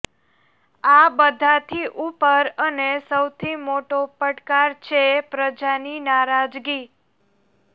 આ બધાથી ઉપર અને સૌથી મોટો પડકાર છે પ્રજાની નારાજગી